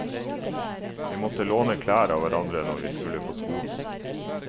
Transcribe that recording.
Vi måtte låne klær av hverandre når vi skulle på skolen.